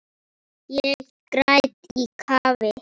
Ég græt í kafi.